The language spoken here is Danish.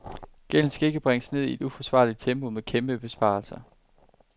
Gælden skal ikke bringes ned i et uforsvarligt tempo med kæmpe besparelser.